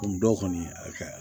dɔw kɔni a